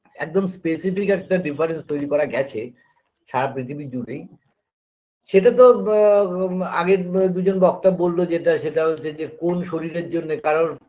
একদম specific একটা difference তৈরি করা গেছে সারা পৃথিবী জুড়েই সেটাতো ব আ আগের ব দুজন বক্তা বললো যেটা সেটা হচ্ছে যে কোন শরীরের জন্যে কারোর